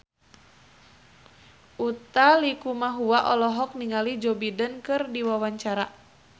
Utha Likumahua olohok ningali Joe Biden keur diwawancara